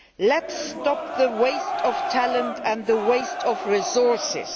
Let us stop the waste of talent and the waste of resources.